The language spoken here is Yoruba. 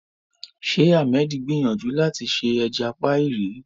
Ṣé Ahmed gbìyànjú láti ṣe ẹja píì rí?